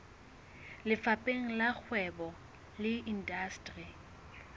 lefapheng la kgwebo le indasteri